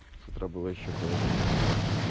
утро было ещё холоднее